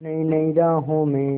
नई नई राहों में